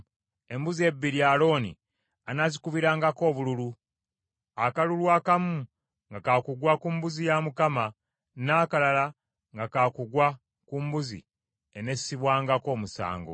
Embuzi ebbiri Alooni anaazikubirangako obululu; akalulu akamu nga ka kugwa ku mbuzi ya Mukama , n’akalala nga ka kugwa ku mbuzi enessibwangako omusango.